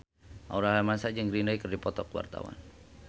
Aurel Hermansyah jeung Green Day keur dipoto ku wartawan